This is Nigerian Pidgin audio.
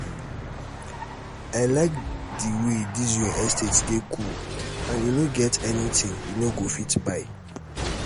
i like the way dis your estate dey cool and e no get anything you no go fit buy.